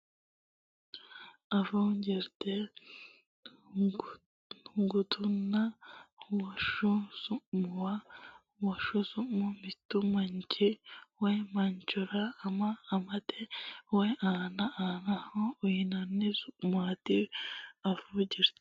Afuu Jirte Gutunna woshsho su muwa Woshsho su ma Mittu manchi woy manchora ama amate woy anna annaho uyinanni su maati Afuu Jirte.